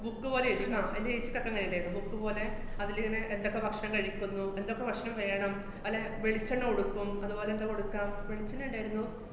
book പോലെ എഴിതീട്ട്ണ്ടാവും എന്‍റെ ഏച്ചിക്കൊക്കെ അങ്ങനെ തന്നായിരുന്നു book പോലെ അതിലിങ്ങനെ എന്തൊക്കെ ഭക്ഷണം കഴിക്കുന്നു, എന്തൊക്കെ ഭക്ഷണം വേണം, അല്ലെ വെളിച്ചെണ്ണ കൊടുക്കും, അതുപോലെ ന്താ കൊടുക്കുക, വെളിച്ചെണ്ണേണ്ടാര്ന്നു.